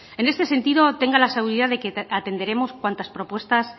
en este sentido tenga la seguridad de que atenderemos cuantas propuestas